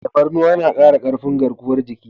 Tafarnuwa na kara karfin garkuwar jiki.